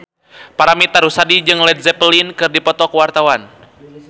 Paramitha Rusady jeung Led Zeppelin keur dipoto ku wartawan